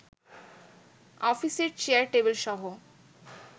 অফিসের চেয়ার-টেবিলসহ